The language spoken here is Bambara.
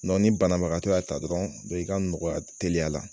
ni banabagatɔ y'a ta dɔrɔn, i ka nɔgɔya teliya la.